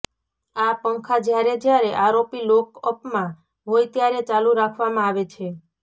આ પંખા જ્યારે જ્યારે આરોપી લોકઅપમાં હોય ત્યારે ચાલુ રાખવામાં આવે છે